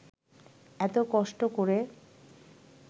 এত কষ্ট করে